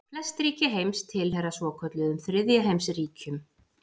Flest ríki heims tilheyra svokölluðum þriðja heims ríkjum.